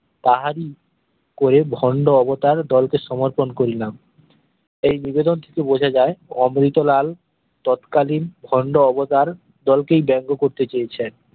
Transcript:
তাহারই করে ভন্ড অবতার দল কে সমর্থন করিলাম এই নিবেদন টিতে বোঝা যায় অমৃতলাল তৎকালীন ভন্ড অবতার দলকেই ব্যাঙ্গ করতে চেয়েছেন